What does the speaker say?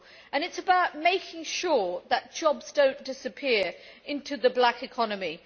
It is about making sure that jobs do not disappear into the black economy.